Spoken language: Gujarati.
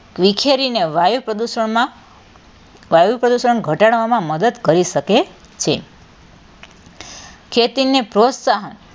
વિખેરીને વાયુ પ્રદુષણમાં વાયુ પ્રદુષણ ઘટાડવામાં મદદ કરી શકે છે ખેતીને પ્રોત્સાહન,